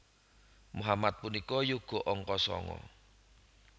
Mohamad punika yoga angka sanga